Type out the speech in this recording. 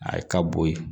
A ye ka bo ye